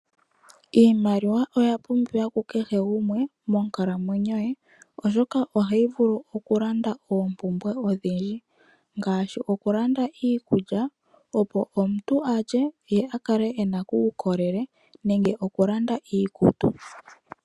Iimaliwa oya pumbiwa kukehe gumwe monkalamwenyo ye oshoka ohayi vulu okulanda oompumbwe odhindji kukehe gumwe ngaashi okulanda iikulya opo omuntu alye ye akale ena uukolele nenge okulanda iikutu.